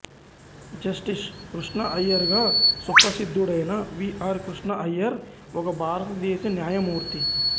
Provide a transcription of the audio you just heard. justice Krishna Iyer గా సుప్రసిద్దుడైన V R Krishna Iyer ఒక భారతదేశ న్యాయమూర్తి